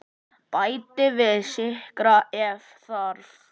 Bætið við sykri ef þarf.